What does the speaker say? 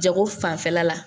Jago fanfɛla la